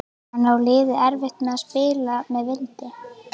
En á liðið erfitt með að spila með vindi?